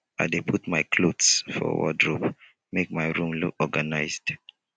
i dey put my clothes for wardrobe make my room look organized